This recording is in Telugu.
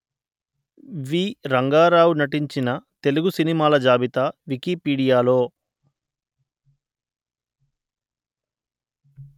వి రంగారావు నటించిన తెలుగు సినిమాల జాబితా వికీపీడియాలో